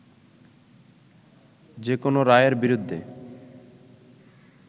যেকোনো রায়ের বিরুদ্ধে